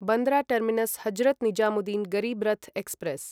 Bandra terminus Hazrat Nizamuddin Garib Rath express